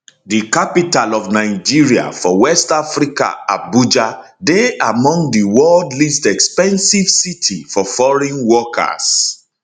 di capital of nigeria for west africa abuja dey among di worlds least expensive city for foreign workers